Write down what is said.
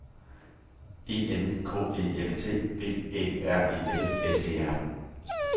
E N K E L T V Æ R E L S E R